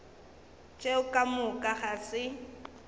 tšeo ka moka ga se